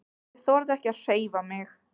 Ég þorði ekki að hreyfa mig.